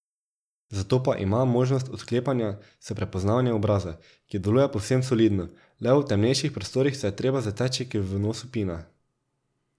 Zato pa ima možnost odklepanja s prepoznavanjem obraza, ki deluje povsem solidno, le v temnejših prostorih se je treba zateči k vnosu pina.